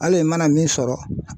Hali i mana min sɔrɔ